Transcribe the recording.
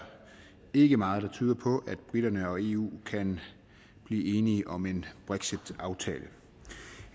ikke meget der tyder på at briterne og eu kan blive enige om en brexitaftale